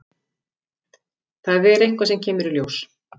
Það er eitthvað sem kemur í ljós.